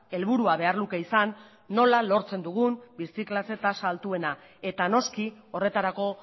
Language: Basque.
helburua behar luke izan nola lortzen dugun birziklatze tasa altuena eta noski horretarako